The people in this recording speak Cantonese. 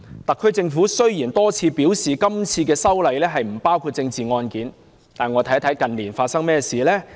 特區政府雖然多次表示今次修例不包括政治案件，但我們看看近年發生何事？